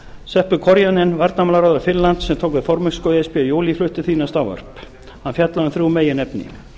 korjanan varnarmálaráðherra finnlands sem tók við formennsku í e s b í júlí flutti því næst ávarp hann fjallaði um þrjú meginefni